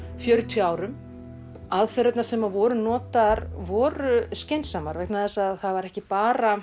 fjörutíu árum aðferðirnar sem voru notaðar voru skynsamar vegna þess að það var ekki bara